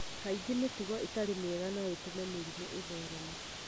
Kaingĩ mĩtugo ĩtarĩ mĩega no ĩtũme mĩrimũ ĩthereme.